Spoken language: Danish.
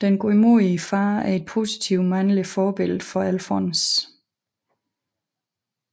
Den godmodige far er et positivt mandligt forbillede for Alfons